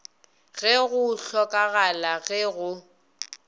ge go hlokagala ge go